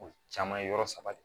O caman ye yɔrɔ saba de ye